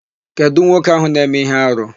Kedụ nwoke áhụ̀ na-eme íhé arụ?